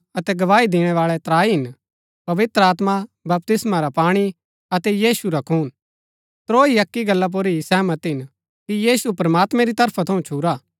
अतै गवाई दिणैबाळै त्राई हिन पवित्र आत्मा बपतिस्मा रा पाणी अतै यीशु रा खून त्रोई अक्की गल्ला पुर ही सहमत हिन कि यीशु प्रमात्मैं री तरफा थऊँ छुरा